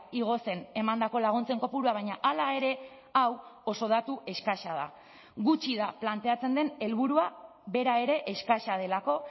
igo zen emandako laguntzen kopurua baina hala ere hau oso datu eskasa da gutxi da planteatzen den helburua bera ere eskasa delako